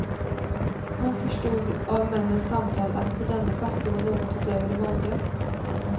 Hon förstod av männens samtal att denne pastor var något utöver det vanliga.